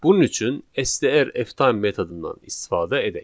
Bunun üçün STRFtime metodundan istifadə edək.